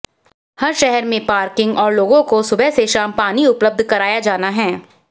हर शहर में पार्किंग और लोगों को सुबह से शाम पानी उपलब्ध कराया जाना है